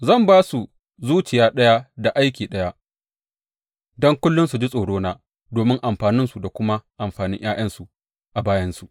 Zan ba su zuciya ɗaya da aiki ɗaya, don kullum su ji tsorona domin amfaninsu da kuma amfanin ’ya’yansu a bayansu.